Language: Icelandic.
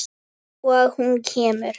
Og hún kemur.